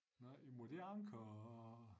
Nej men er det Anker og